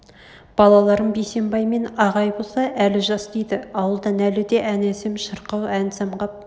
балаларым бейсембай мен ағай боса әлі жас дейді ауылдан әлі де ән әсем шырқау ән самғап